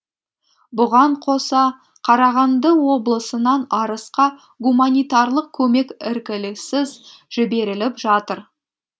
бұған қоса қарағанды облысынан арысқа гуманитарлық көмек іркіліссіз жіберіліп жатыр